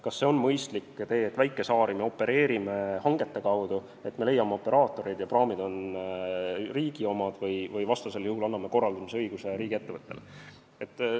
Kas on mõistlik idee, et väikesaari me opereerimine hangete kaudu, et me leiame operaatorid ja praamid on riigi omad, või vastasel juhul anname korraldamisõiguse riigiettevõttele?